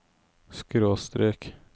skråstrek